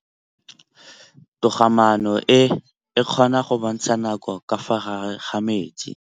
Toga-maanô e, e kgona go bontsha nakô ka fa gare ga metsi.